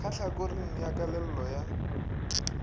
ka tlhakoring la kellelo ya